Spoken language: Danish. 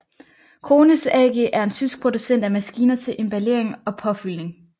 Krones AG er en tysk producent af maskiner til emballering og påfyldning